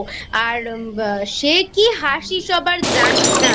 আর সে কী হাসি সবার জানিস না